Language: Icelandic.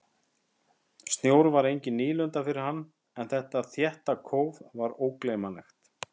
Snjór var engin nýlunda fyrir hann en þetta þétta kóf var ógleymanlegt.